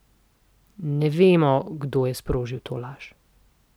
Ne vemo, kdo je sprožil to laž.